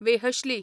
वेहश्ली